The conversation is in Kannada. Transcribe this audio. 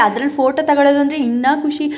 ಅದ್ರಲ್ಲಿ ಫೋಟೋ ತಕೊಳೋದ್ ಅಂದ್ರೆ ಇನ್ನ ಖುಷಿ.